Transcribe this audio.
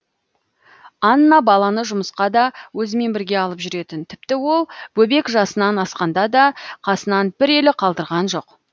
анна баланы жұмысқа да өзімен бірге алып жүретін тіпті ол бөбек жасынан асқанда да қасынан бір елі қалдырған жоқ